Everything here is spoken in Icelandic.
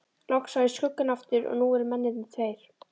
Loks sá ég skuggann aftur og nú voru mennirnir tveir.